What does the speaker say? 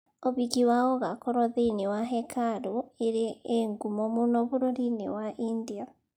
Ũhiki wao ũgakorũo thĩiniĩ wa hekarũ ĩrĩ ĩ ngumo mũno bũrũri-inĩ wa India.